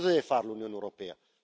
Cosa deve fare l'Unione europea?